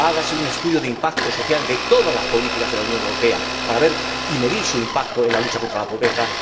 ¡Hágase un estudio de impacto social de todas las políticas de la Unión Europea, para ver y medir su impacto en la lucha contra la pobreza!